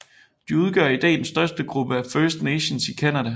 De udgør i dag den største gruppe af First Nations i Canada